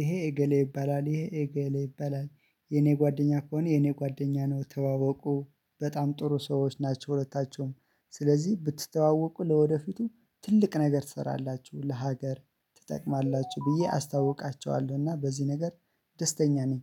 ይሄ እገሌ ይባላል ይሄ እገሌ ይባላል። የኔ ጓደኛ ከሆነ የኔ ጓደኛ ነው ተዋወቁ በጣም ጥሩ ሰዎች ናቸው ሁለታቸውም ስለዚህ ብትተዋወቁ ለወደፊቱ ትልቅ ነገር ትሰራላችሁ ለሀገር ትጠቅማላችሁ ብዬ አስታውቃቸዋለሁ። እና በዚህ ነገር ደስተኛ ነኝ።